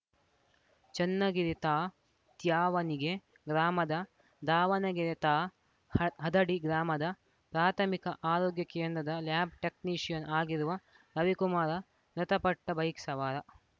ಚನ್ನಗಿರಿ ತಾ ತ್ಯಾವಣಿಗೆ ಗ್ರಾಮದ ದಾವಣಗೆರೆ ತಾ ಹ ಹದಡಿ ಗ್ರಾಮದ ಪ್ರಾಥಮಿಕ ಆರೋಗ್ಯ ಕೇಂದ್ರದ ಲ್ಯಾಬ್‌ ಟೆಕ್ನಿಷಿಯನ್‌ ಆಗಿರುವ ರವಿಕುಮಾರ ಮೃತ ಪಟ್ಟ ಬೈಕ್‌ ಸವಾರ